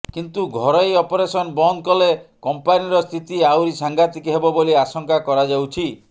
କିନ୍ତୁ ଘରୋଇ ଅପରେସନ ବନ୍ଦ କଲେ କମ୍ପାନିର ସ୍ଥିତି ଆହୁରି ସାଙ୍ଘାତିକ ହେବ ବୋଲି ଆଶଙ୍କା କରାଯାଉଛି